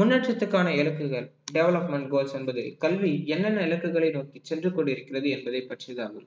முன்னேற்றத்துக்கான இலக்குகள் development goals என்பது கல்வி என்னென்ன இலக்குகளை நோக்கி சென்று கொண்டிருக்கிறது என்பதை பற்றிதான்